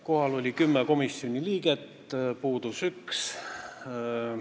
Kohal oli 10 komisjoni liiget, puudus 1.